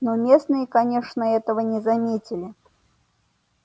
но местные конечно этого не заметили